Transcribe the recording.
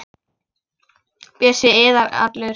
Bjössi iðar allur.